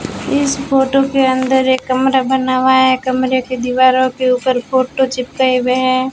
इस फोटो के अंदर एक कमरा बना हुआ है कमरे की दीवारों के ऊपर फोटो चिपके हुए हैं।